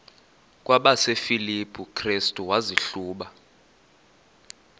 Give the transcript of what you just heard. kwabasefilipi restu wazihluba